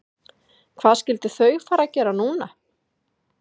Hvað skyldu þau fara að gera núna?